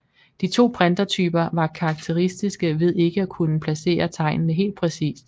De to printertyper var karakteristiske ved ikke at kunne placere tegnene helt præcist